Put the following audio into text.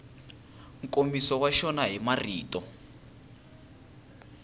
nkomiso wa xona hi marito